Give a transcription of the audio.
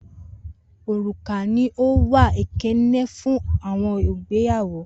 Oruka ni o wa okeene fun awọn igbeyawo